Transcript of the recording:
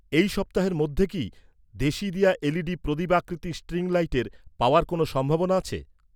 এই সপ্তাহের মধ্যে কি, দেশিদিয়া এলইডি প্রদীপ আকৃতির স্ট্রিং লাইটের পাওয়ার কোনও সম্ভাবনা আছে?